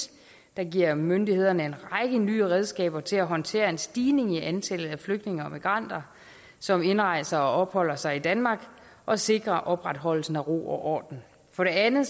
der giver myndighederne en række nye redskaber til at håndtere en stigning i antallet af flygtninge og migranter som indrejser og opholder sig i danmark og sikre opretholdelsen af ro og orden for det andet